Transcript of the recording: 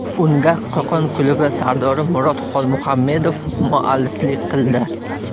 Unga Qo‘qon klubi sardori Murod Xolmuhammedov mualliflik qildi.